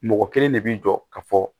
Mɔgɔ kelen de bi jɔ ka fɔ